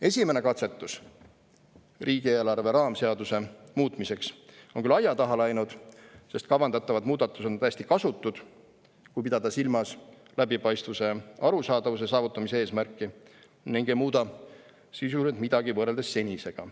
Esimene katsetus riigieelarve raamseaduse muutmiseks on küll aia taha läinud, sest kavandatavad muudatused on täiesti kasutud – kui pidada silmas suurema läbipaistvuse ja arusaadavuse saavutamise eesmärki – ning ei muuda sisuliselt midagi võrreldes senisega.